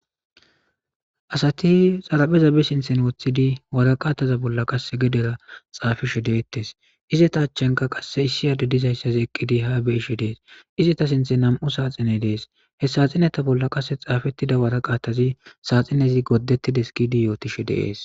asati xarapheza bi sinthen woththidi wara qaataza bolla qasse gedera xaafishe deettes izeta achchenka qasse issi ade dizayssazi eqqidi ha be ishe dees izeta sinthe nam7u saaxine dees he saaxineta bolla qasse xaafettida wara qaattazi saaxinezi gooddettides gidi yootishe deees